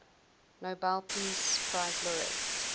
nobel peace prize laureates